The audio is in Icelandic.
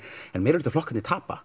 meirihlutaflokkarnir tapa